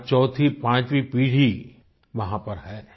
आज चौथीपांचवी पीढ़ी वहाँ पर है